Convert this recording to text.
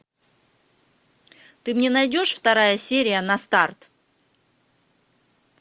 ты мне найдешь вторая серия на старт